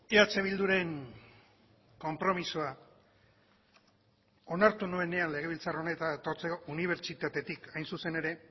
eh bilduren konpromisoa onartu nuenean legebiltzar honetara etortzeko unibertsitatetik hain zuzen ere